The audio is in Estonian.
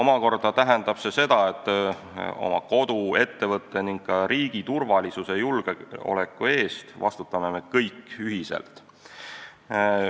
Ja see tähendab ka seda, et oma kodu, ettevõtte ning ka riigi turvalisuse ja julgeoleku eest vastutame me kõik ühiselt.